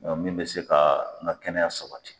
min bɛ se ka n ka kɛnɛya sabati.